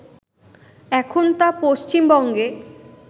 এখন তা পশ্চিমবঙ্গে